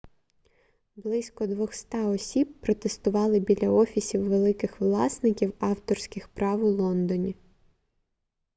близько 200 осіб протестували біля офісів великих власників авторських прав у лондоні